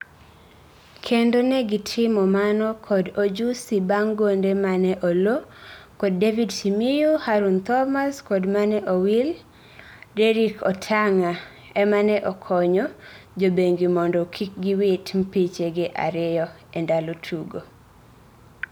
kendo negitimomano kod ojusi bang gonde mane olo kod David Simiyu, Harun Thomas kod mane owil Derrick Otanga ,emane okonyo jobengi mondo kikgi wit mpiche gi ariyo e ndalotugo